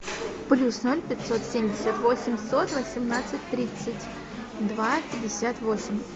плюс ноль пятьсот семьдесят восемьсот восемнадцать тридцать два пятьдесят восемь